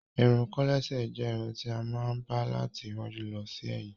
Ìrún kòlẹ̀sè jẹ́ ìrún tí a máa ń ba láti ìwájú lọ sí èyìn.